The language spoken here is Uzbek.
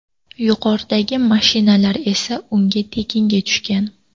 Yuqoridagi mashinalar esa unga tekinga tushgan.